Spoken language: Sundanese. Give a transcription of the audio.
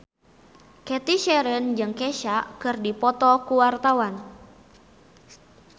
Cathy Sharon jeung Kesha keur dipoto ku wartawan